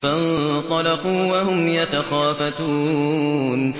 فَانطَلَقُوا وَهُمْ يَتَخَافَتُونَ